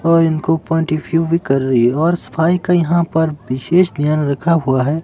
और इनको भी कर रही और सफाई का यहां पर विशेष ध्यान रखा हुआ है।